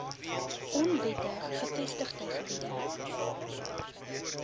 onwettig gevestigde gebiede